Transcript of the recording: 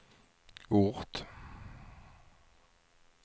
ort